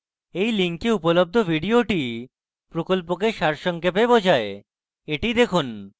এই link উপলব্ধ video প্রকল্পকে সারসংক্ষেপে বোঝায় the দেখুন